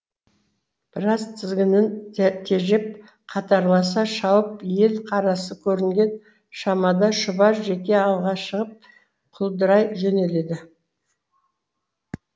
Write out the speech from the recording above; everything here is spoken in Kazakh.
біраз тізгінін тежеп қатарласа шауып ел қарасы көрінген шамада шұбар жеке алға шығып құлдырай жөнеледі